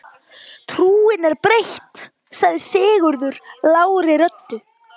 Trúin er breytt, sagði Sigurður lágri röddu.